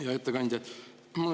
Hea ettekandja!